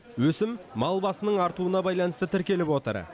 өсім мал басының артуына байланысты тіркеліп отыр